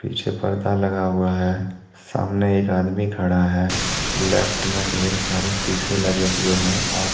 पीछे पर्दा लगा हुआ है सामने एक आदमी खड़ा है लेफ्ट में ढेर सारे सीसे लगे हुऎ हैं और--